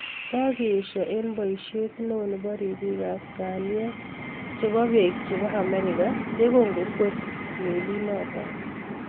Kakeistoo eng poisiet neo nepo ripik ap kalyet chepo peek chepo Amerika yegongekwer meliinotok